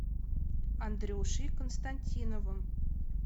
андрюшей константиновым